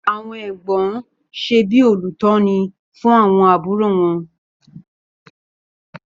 Àwọn Ẹ̀gbọ́n ṣe bí olùtọ́ni fún àwọn àbúrò wọn.